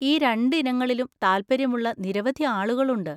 ഈ രണ്ട് ഇനങ്ങളിലും താൽപ്പര്യമുള്ള നിരവധി ആളുകൾ ഉണ്ട്.